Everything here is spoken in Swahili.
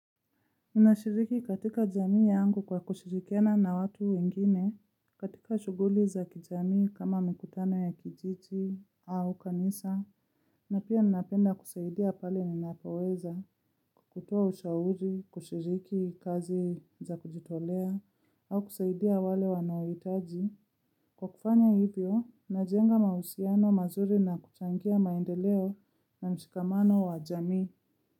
Ninashiriki katika jamii yangu kwa kushirikiana na watu wengine, katika shuguli za kijamii kama mikutano ya kijiji au kanisa, na pia ninapenda kusaidia pale ninapoweza, kukutua ushauri, kushiriki kazi za kujitolea, au kusaidia wale wanaohitaji. Kwa kufanya hivyo najenga mausiano mazuri na kuchangia maendeleo na mshikamano wa jamii.